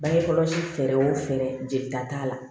Bange kɔlɔsi fɛɛrɛw fɛɛrɛ jelita t'a la